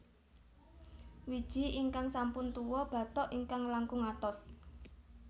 Wiji ingkang sampun tuwa bathok ingkang langkung atos